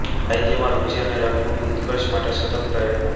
સાહિત્યમાં રુચિ અને રંગભૂમિના ઉત્કર્ષ માટે સતત પ્રયત્નો